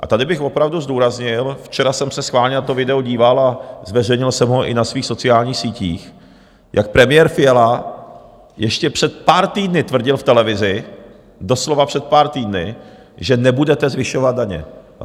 A tady bych opravdu zdůraznil - včera jsem se schválně na to video díval a zveřejnil jsem ho i na svých sociálních sítích, jak premiér Fiala ještě před pár týdny tvrdil v televizi, doslova před pár týdny, že nebudete zvyšovat daně.